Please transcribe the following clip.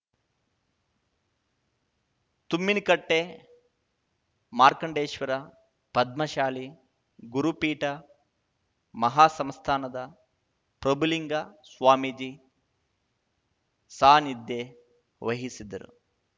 ತುಮ್ಮಿನಕಟ್ಟೆಮಾರ್ಕಂಡೇಶ್ವರ ಪದ್ಮಶಾಲಿ ಗುರುಪೀಠ ಮಹಾಸಂಸ್ಥಾನದ ಪ್ರಭುಲಿಂಗ ಸ್ವಾಮೀಜಿ ಸಾನಿಧ್ಯ ವಹಿಸಿದ್ದರು